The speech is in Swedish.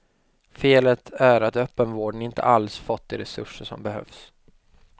Felet är att öppenvården inte alls fått de resurser som behövs.